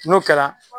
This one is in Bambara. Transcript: N'o kɛra